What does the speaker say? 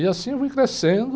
E assim eu fui crescendo...